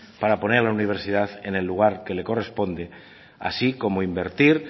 para poner a la universidad en el lugar que le corresponde así como invertir